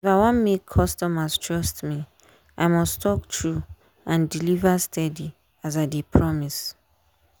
if i wan make customers trust me i must talk true and deliver steady as i dey promise.